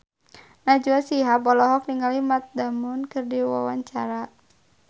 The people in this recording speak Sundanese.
Najwa Shihab olohok ningali Matt Damon keur diwawancara